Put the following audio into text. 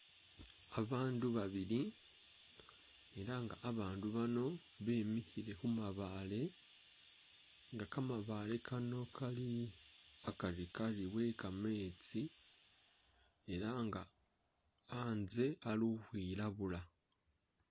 Abandu babili elanga abandu bano bimikhile khumabaale nga kamabaale kano kali hakarkari wekameetsi elanga hatse hali ukhwilabula.